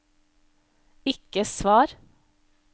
ikke svar